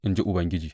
in ji Ubangiji.